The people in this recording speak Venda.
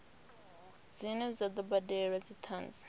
dzine dza do badelwa dzithanzi